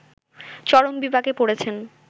চরম বিপাকে পড়েছেন